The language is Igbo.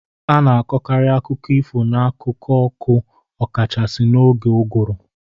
A na-akọkarị akụkọ ifo n'akụkụ ọkụ, ọkachasị n'oge ụgwụru.